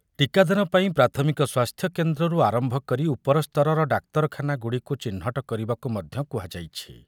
ଟୀକାଦାନ ପାଇଁ ପ୍ରାଥମିକ ସ୍ୱାସ୍ଥ୍ୟ କେନ୍ଦ୍ରରୁ ଆରମ୍ଭ କରି ଉପରସ୍ତରର ଡାକ୍ତରଖାନା ଗୁଡ଼ିକୁ ଚିହ୍ନଟ କରିବାକୁ ମଧ୍ୟ କୁହାଯାଇଛି ।